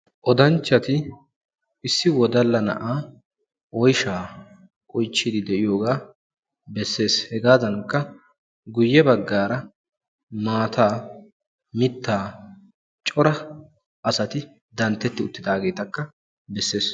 oddanchchati issi wodalla na'a oyshsha oychchide de'iyoogaa bessees; hegadankka guyye baggara maata mittaa cora asati dantteti uttidaagetakka bessees.